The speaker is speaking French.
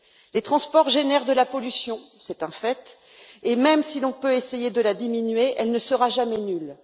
Les transports génèrent de la pollution, c'est un fait, et même si l'on peut essayer de la diminuer, elle ne sera jamais nulle.